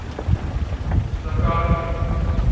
zakaria